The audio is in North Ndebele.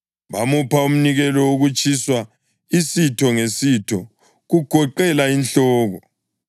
Bamupha umnikelo wokutshiswa, isitho ngesitho kugoqela inhloko, wakutshisela e-alithareni.